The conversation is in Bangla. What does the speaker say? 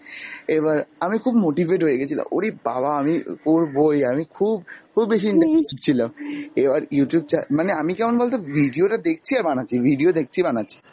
এবার আমি খুব motivate হয়ে গেছিলাম, উরিঃ বাবা আমি করবই, আমি খুব খুব বেশি interested ছিলাম। এবার Youtube চ্যা মানে আমি কেমন বল তো ভিডিও টা দেখছি আর বানাচ্ছি, video দেখছি বানাচ্ছি,